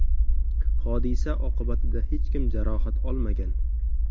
Hodisa oqibatida hech kim jarohat olmagan.